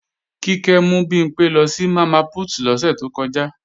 Kíkẹ́ mú Bimpé lọ sí Mama Put lọ́sẹ̀ to kọjá